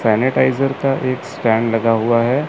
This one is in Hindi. सैनिटाइजर का एक स्कैन लगा हुआ है।